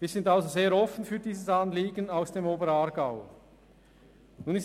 Wir sind für dieses Anliegen aus dem Oberaargau also sehr offen.